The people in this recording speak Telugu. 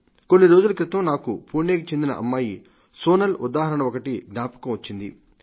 కొన్ని రోజుల క్రితం నాకు పుణేకు చెందిన అమ్మాయి సోనల్ ఉదాహరణ ఒకటి జ్ఞాపకం వచ్చింది